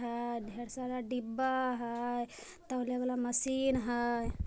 हा ढेर सारा डिब्बा है तोलने वाला मशीन है ।